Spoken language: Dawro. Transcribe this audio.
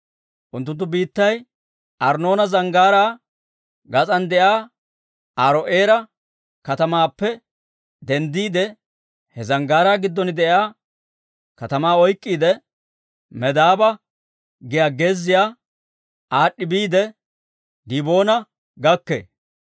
Unttunttu biittay Arnnoona Zanggaaraa garssan de'iyaa Aaro'eera katamaappe denddiide, he zanggaaraa giddon de'iyaa katamaa oyk'k'iide, Medaaba giyaa gezziyaa aad'd'i biide, Diboona gakkee.